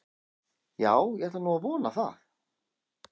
Já, ég ætla nú að vona það.